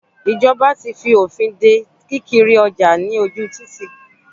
Ìjọba ti fi òfin de kí kiri ọjà lójú títì.